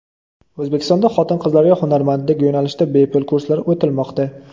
O‘zbekistonda xotin-qizlarga hunarmandlik yo‘nalishida bepul kurslar o‘tilmoqda.